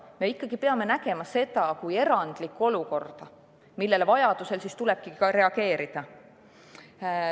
Me peame nägema seda kui erandlikku olukorda, millele vajaduse korral tulebki reageerida.